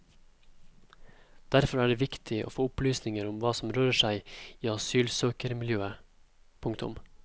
Derfor er det viktig å få opplysninger om hva som rører seg i asylsøkermiljøet. punktum